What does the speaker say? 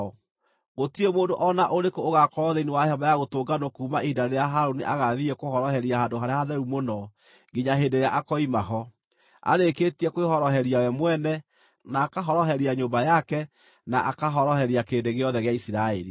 Gũtirĩ mũndũ o na ũrĩkũ ũgaakorwo thĩinĩ wa Hema-ya-Gũtũnganwo kuuma ihinda rĩrĩa Harũni agaathiĩ kũhoroheria Handũ-harĩa-Hatheru-Mũno nginya hĩndĩ ĩrĩa akoima ho, arĩkĩtie kwĩhoroheria we mwene, na akahoroheria nyũmba yake na akahoroheria kĩrĩndĩ gĩothe gĩa Isiraeli.